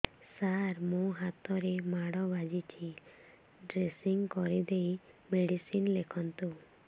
ସାର ମୋ ହାତରେ ମାଡ଼ ବାଜିଛି ଡ୍ରେସିଂ କରିଦେଇ ମେଡିସିନ ଲେଖନ୍ତୁ